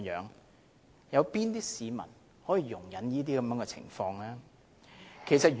哪有市民可以容忍這種情況？